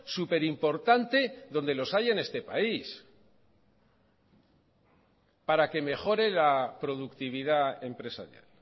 superimportante donde los hay en este país para que mejore la productividad empresarial